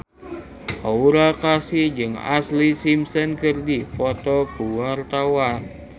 Aura Kasih jeung Ashlee Simpson keur dipoto ku wartawan